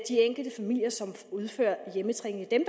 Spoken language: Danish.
enkelte familier som udfører hjemmetræning det er